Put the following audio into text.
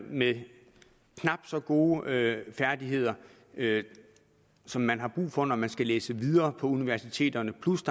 med knap så gode færdigheder som man har brug for når man skal læse videre på universiteterne